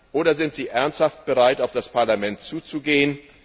Oder sind Sie ernsthaft bereit, auf das Parlament zuzugehen?